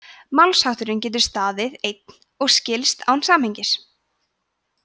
málshátturinn getur staðið einn og skilst án samhengis